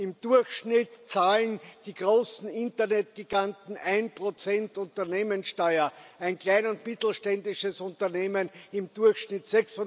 Im Durchschnitt zahlen die großen Internetgiganten 1 Unternehmenssteuer, ein klein und mittelständisches Unternehmen im Durchschnitt